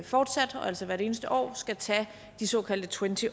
fortsat og altså hvert eneste år skal tage de såkaldte twenty